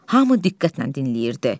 Hamı diqqətlə dinləyirdi.